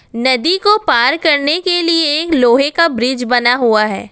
नदी को पार करने के लिए एक लोहे का ब्रिज बना हुआ है।